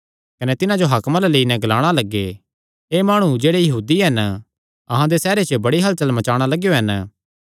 कने तिन्हां जो हाकमां अल्ल लेई गै कने ग्लाणा लग्गे एह़ माणु जेह्ड़े यहूदी हन अहां दे सैहरे च बड़ी हलचल मचाणा लगेयो हन